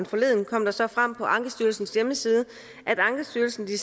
forleden kom det så frem på ankestyrelsens hjemmeside at ankestyrelsen i de